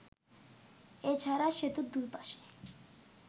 এছাড়া সেতুর দুই পাশে